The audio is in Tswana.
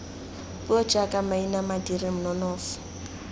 puo jaaka maina madiri nonofo